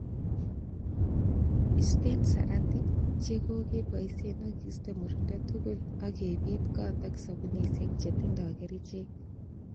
Isteen saratik chekokeboishen ak istee murindo tugul ak kebit got ak sobunisiek chetindoi kerichek.